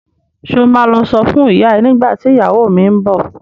Ṣo ma lọ sọ fún ìyá ẹ nígbà tí ìyàwó mi ń bọ̀?